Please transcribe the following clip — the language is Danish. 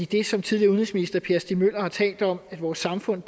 det som tidligere udenrigsminister per stig møller har talt om hvor vores samfund